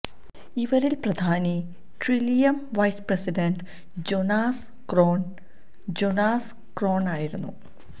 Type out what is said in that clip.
ഇവരില് പ്രധാനി Trillium vice president Jonas Kron Jonas Kron ആയിരുന്നു